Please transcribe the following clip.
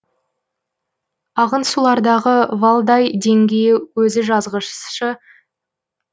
ағын сулардағы валдай деңгей өзі жазғышысы